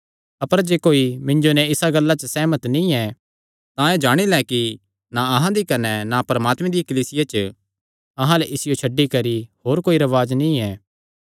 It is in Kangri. अपर जे कोई मिन्जो नैं इसा गल्ला च सेहमत नीं ऐ तां एह़ जाणी लैं कि ना अहां दी कने ना परमात्मे दियां कलीसियां च अहां अल्ल इसियो छड्डी करी होर कोई रवाज नीं ऐ